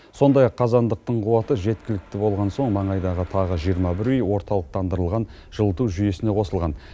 сондай ақ қазандықтың қуаты жеткілікті болған соң маңайдағы тағы жиырма бір үй орталықтандырылған жылыту жүйесіне қосылған